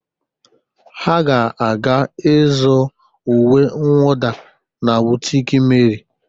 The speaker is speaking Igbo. Ha ga-aga ịzụ uwe nwuda na bụtiki Meri.